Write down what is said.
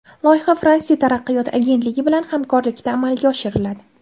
Loyiha Fransiya taraqqiyot agentligi bilan hamkorlikda amalga oshiriladi.